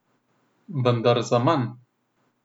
Vendar zaman.